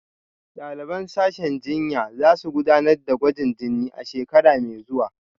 Daliban sashen jinya za su gudanar da gwajin jini a shekara mai zuwa